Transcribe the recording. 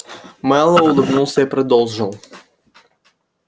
мэллоу улыбнулся и продолжил